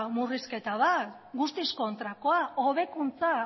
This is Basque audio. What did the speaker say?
murrizketa bat guztiz kontrakoa hobekuntza